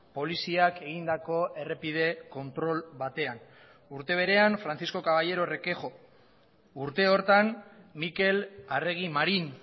poliziak egindako errepide kontrol batean urte berean francisco caballero requejo urte horretan mikel arregi marin